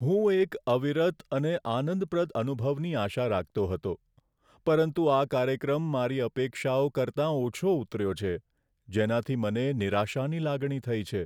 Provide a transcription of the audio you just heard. હું એક અવિરત અને આનંદપ્રદ અનુભવની આશા રાખતો હતો, પરંતુ આ કાર્યક્રમ મારી અપેક્ષાઓ કરતાં ઓછો ઉતર્યો છે, જેનાથી મને નિરાશાની લાગણી થઈ છે.